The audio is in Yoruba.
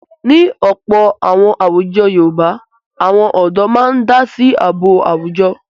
Ní ọ̀pọ̀ àwọn àwùjọ Yorùbá àwọn ọ̀dọ́ máa ń dá sí ààbò àwùjọ.